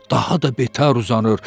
onu daha da betər uzanır.